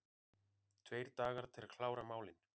Tveir dagar til að klára málin